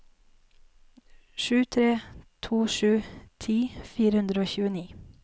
sju tre to sju ti fire hundre og tjueni